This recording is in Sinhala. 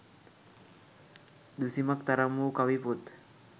දුසිමක් තරම් වූ කවි පොත්